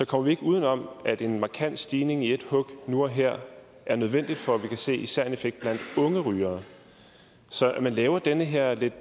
kommer vi ikke uden om at en markant stigning i et hug nu og her er nødvendig for at vi kan se især en effekt blandt unge rygere så at man laver den her lidt